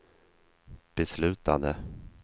beslutade